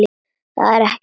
Það er ekkert að.